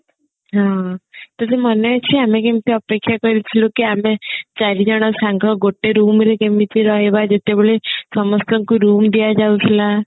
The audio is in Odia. ତୋର ମନେ ଅଛି ଆମେ କେମତି ଅପେକ୍ଷା କରିଥିଲୁ କି ଆମେ ଚାରିଜନ ସାଙ୍ଗ ଗୋଟେ room ରେ କେମିତି ରହିବା ଯେତେବେଳେ ସମସ୍ତଙ୍କୁ room ଦିଆଯାଉଥିଲା